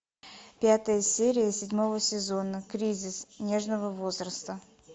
пятая серия седьмого сезона кризис нежного возраста